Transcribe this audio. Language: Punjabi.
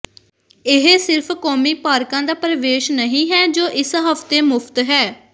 ਇਹ ਸਿਰਫ਼ ਕੌਮੀ ਪਾਰਕਾਂ ਦਾ ਪ੍ਰਵੇਸ਼ ਨਹੀਂ ਹੈ ਜੋ ਇਸ ਹਫ਼ਤੇ ਮੁਫਤ ਹੈ